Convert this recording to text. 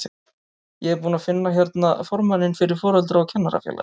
Ég er búinn að finna hérna formanninn fyrir Foreldra- og kennarafélagið!